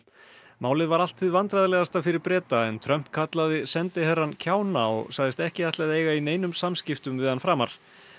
málið var allt hið vandræðalegasta fyrir Breta en Trump kallaði sendiherrann kjána og sagðist ekki ætla að eiga í neinum samskiptum við hann framar